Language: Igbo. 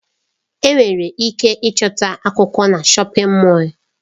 Enwere ike ịchọta akwụkwọ na shọpin Mọll.